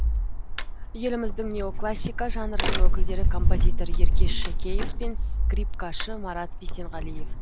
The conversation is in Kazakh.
еліміздің неоклассика жанрының өкілдері композитор еркеш шакеев пен скрипкашы марат бисенғалиев